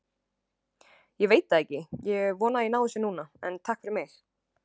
Ég veit það ekki, ég vona að ég nái þessu núna, en takk fyrir mig.